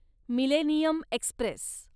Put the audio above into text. millennium Express